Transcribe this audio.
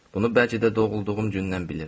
Bunu bəlkə də doğulduğum gündən bilirəm.